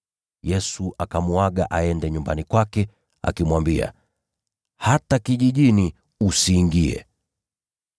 Yesu akamuaga aende nyumbani kwake, akimwambia, “Hata kijijini usiingie.”